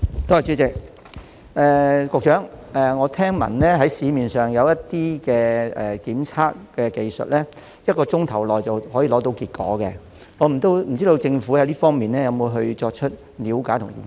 局長，我聽聞市面上有些檢測技術可在1小時內得出結果，請問政府有否就這方面作出了解及研究？